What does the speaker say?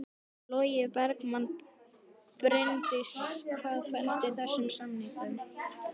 Logi Bergmann: Bryndís hvað felst í þessum samningum?